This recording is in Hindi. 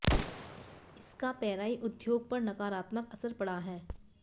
इसका पेराई उद्योग पर नकारात्मक असर पड़ा है